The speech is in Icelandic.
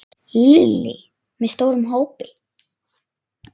Lillý: Með stórum hópi?